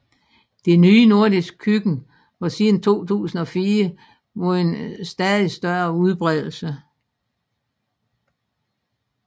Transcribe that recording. Det nye nordiske køkken har siden 2004 vundet stadig større udbredelse